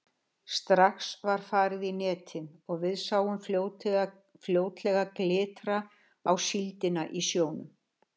Strax var farið í netin og við sáum fljótlega glitra á síldina í sjónum.